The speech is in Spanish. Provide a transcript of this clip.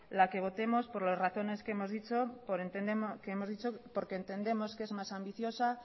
la que votemos por las razones que hemos dicho porque entendemos que es más ambiciosa